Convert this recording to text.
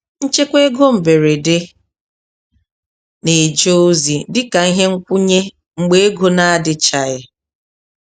Nchekwa ego mberede na-eje ozi dị ka ihe nkwụnye mgbe ego n'adịchaghị.